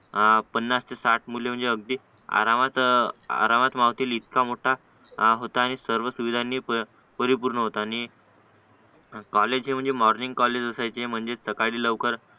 आ पन्नास ते साठ मुलं म्हणजे अगदी आरामात आरामात मावतील इतका मोठा होता आणि सर्व सुविधांनी परिपूर्ण होता आणि कॉलेज हे म्हणजे मॉर्निंग कॉलेज असायचे सकाळी लवकर